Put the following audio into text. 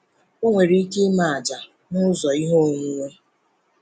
Ọ nwere ike ime àjà n’ụzọ ihe onwunwe.